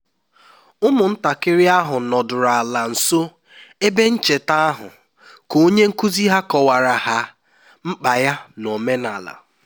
ụmụntakịrị ahụ nọdụrụ ala nso ebe ncheta ahụ ka onye nkuzi ha kọwara ha mkpa ya n'omenala